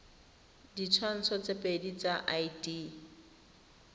ditshwantsho tse pedi tsa id